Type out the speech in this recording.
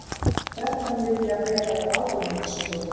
Þrettán vilja vera ráðuneytisstjóri